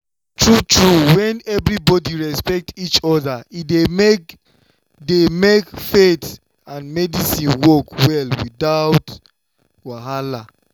true true when everybody respect each other e dey make dey make faith and medicine work well together without wahala.